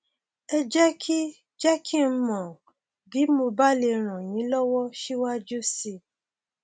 ẹ jẹ kí jẹ kí n mọ um bí mo bá lè ràn yín lọwọ síwájú sí i